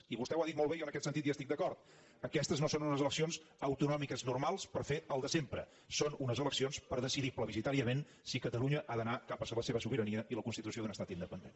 i vostè ho ha dit molt bé i en aquest sentit hi estic d’acord aquestes no són unes eleccions autonòmiques normals per fer el de sempre són unes eleccions per decidir plebiscitàriament si catalunya ha d’anar cap a la seva sobirania i la constitució d’un estat independent